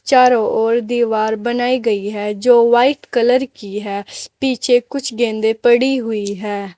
चारो ओर दीवार बनाई गई है जो वाइट कलर की है पीछे कुछ गंदे पड़ी हुई है।